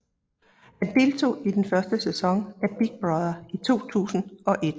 Han deltog i den første sæson af Big Brother i 2001